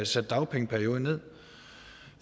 sat dagpengeperioden ned